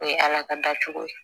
O ye ala ka dacogo ye